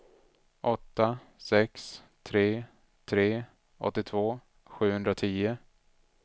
åtta sex tre tre åttiotvå sjuhundratio